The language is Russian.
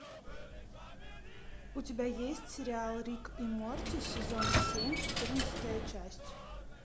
у тебя есть сериал рик и морти сезон семь четырнадцатая часть